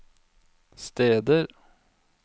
steder